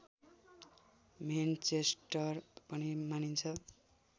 Manchester पनि मानिन्छ